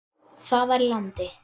Það var í landi